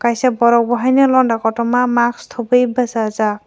kaisa vorok bo haino londa kotorma mask thubui bwsajaak.